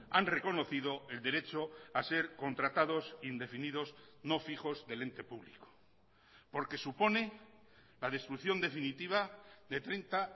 han reconocido el derecho a ser contratados indefinidos no fijos del ente público porque supone la destrucción definitiva de treinta